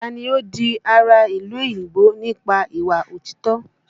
Taa ni ó di ará ìlú òyìnbó nípa ìwà òtítọ́?